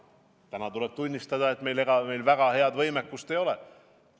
Täna tuleb tunnistada, et ega meil väga head võimekust ei ole.